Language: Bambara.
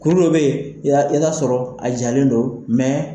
Kuru dɔ be yen , i bi taa sɔrɔ a jalen don